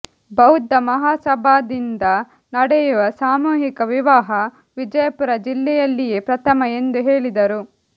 ಬೌದ್ಧ ಮಹಾಸಭಾದಿಂದ ನಡೆಯುವ ಸಾಮೂಹಿಕ ವಿವಾಹ ವಿಜಯಪುರ ಜಿಲ್ಲೆಯಲ್ಲಿಯೇ ಪ್ರಥಮ ಎಂದು ಹೇಳಿದರು